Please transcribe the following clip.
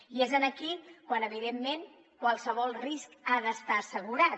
i és aquí quan evidentment qualsevol risc ha d’estar assegurat